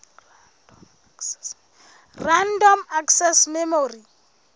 random access memory